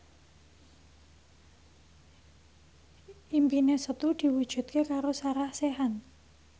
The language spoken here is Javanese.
impine Setu diwujudke karo Sarah Sechan